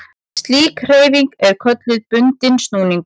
Slík hreyfing er kölluð bundinn snúningur.